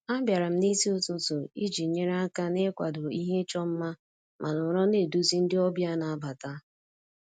Abịara m n'isi ụtụtụ iji nyere aka n'ịkwado ihe ịchọ mma ma nọrọ na-eduzi ndị ọbịa na-abata